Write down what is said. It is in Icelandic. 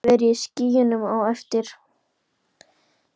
Hann hafði verið í skýjunum á eftir.